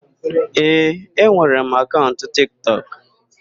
Ee, enwere m akaụnt Tiktọk.